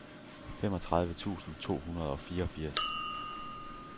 femogtredive tusind to hundrede og fireogfirs